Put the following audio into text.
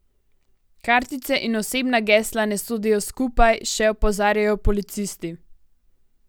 Kartice in osebna gesla ne sodijo skupaj, še opozarjajo policisti.